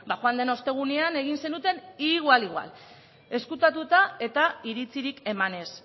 joan den ostegunean egin zenuten igual igual ezkutatuta eta iritzirik eman ez